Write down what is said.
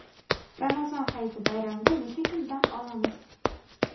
Ramazon hayiti bayramida necha kun dam olamiz?.